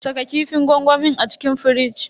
Saka kifin gwangwamin a cikin firij.